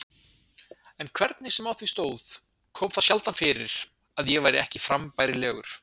En hvernig sem á því stóð kom það sjaldan fyrir að ég væri ekki frambærilegur.